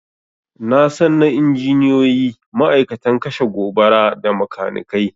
Nasan na injiniyoyi, ma'aikatan kashe gobara, da makanikai